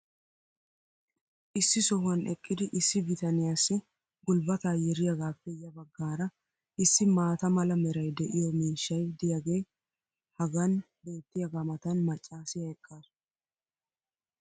issi sohuwan eqqidi issi biytanniyaassi gulbataa yeriyaagaappe ya bagaara issi maata mala meray de'iyo miishshay diyaagee hagan beetiyaagaa matan macaassiya eqaasu.